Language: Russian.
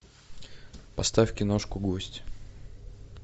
поставь киношку гость